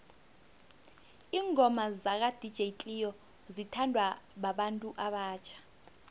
ingoma zaka dj cleo zithanwa babantu abatjha